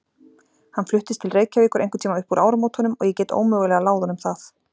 Hann fluttist til Reykjavíkur einhverntíma upp úr áramótunum og ég get ómögulega láð honum það.